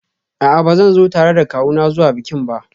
A'a, ba zan zo tare da kawuna zuwa bikin ba